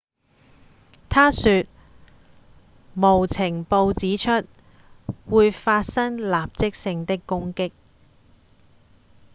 她說：「無情報指出會發生立即性的攻擊